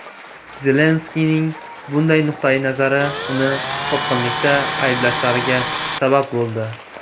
Zelenskiyning bunday nuqtai nazari uni sotqinlikda ayblashlariga sabab bo‘ldi.